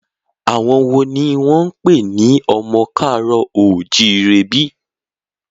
Àwọn wo ni wọ́n ń pè ní ọmọ ká àárọ̀ o ò jíire bí?